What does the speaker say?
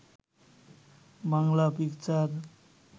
Bangla picture